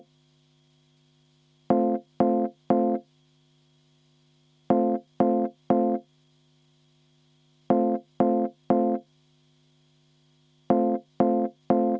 Vaheaeg kümme minutit.